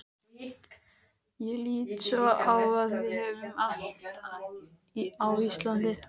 Ég lít svo á að við höfum allt á Íslandi.